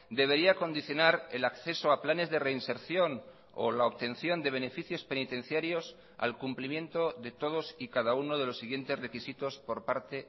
debería condicionar el acceso a planes de reinserción o la obtención de beneficios penitenciarios al cumplimiento de todos y cada uno de los siguientes requisitos por parte